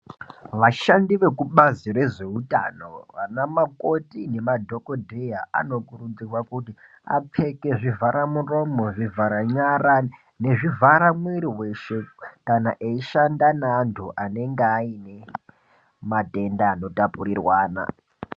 Vashandi vekubazi rezveutano vana makoti nemadhogodheya anokurudzirwa kuti vapfeke zvivhara muromo, zvivhara nyara nezvivhara mwiri veshe. Kana eishanda nevantu anenge aine matenda anotapurirwana.